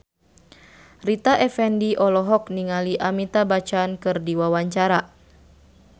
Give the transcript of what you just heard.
Rita Effendy olohok ningali Amitabh Bachchan keur diwawancara